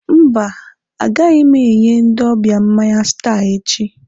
Mba, agaghị m enye ndị ọbịa mmanya Star echi.